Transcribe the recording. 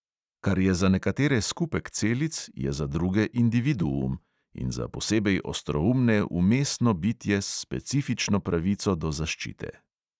Kar je za nekatere skupek celic, je za druge individuum (in za posebej ostroumne vmesno bitje s specifično pravico do zaščite).